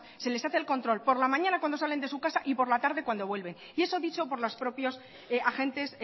se les hace el control por la mañana cuando salen de su caso y por la tarde cuando vuelven y eso dicho por los propios agentes